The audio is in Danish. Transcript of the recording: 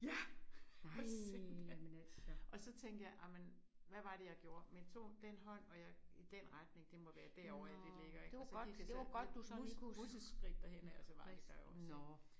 Ja for sytten da. Og så tænker jeg ej men hvad var det jeg gjorde men jeg tog den hånd og jeg i den retning det må være derovre det ligger ik og så gik jeg så med mus museskridt derhen og så var det der jo også ik